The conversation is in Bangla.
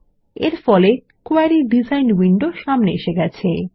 এরফলে কোয়েরি ডিজাইন উইন্ডো সামনে এসে গেছে